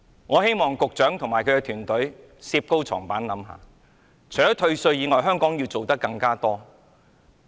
我希望局長和他的團隊能好好反省，除退稅外，香港要做得更多。